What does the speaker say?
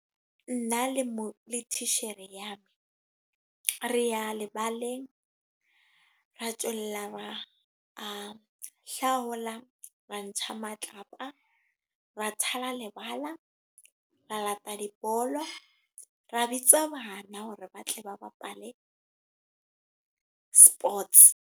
Nna le mo le titjhere ya me. Re ya lebaleng, re ba a hlaola, ra ntsha matlapa. Ra thala lebala re la ta dibolo. Re bitsa bana hore ba tle ba bapale sports.